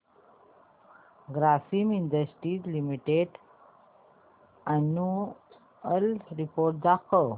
Grasim industries limited annual report दाखव